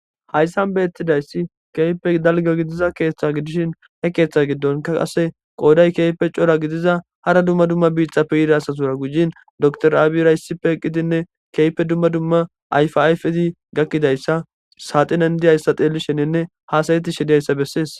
Haysan betizaysi kehipe dalga gidiza ketha gidishin he ketha gidonka qase qoday kehipe c'ora gidiza hara duma duma bitape yiza asatura gujin dokter abiyra issipe eqidine kehipe duma duma ayfa ayfeti gakizaysa saxinen diyaysa xelishenine hasa'tishe de'iyaysa beses.